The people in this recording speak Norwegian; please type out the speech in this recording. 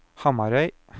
Hamarøy